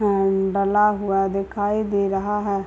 उम्म डला हुआ है दिखाई दे रहा है।